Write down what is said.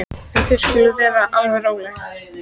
En þið skuluð vera alveg róleg.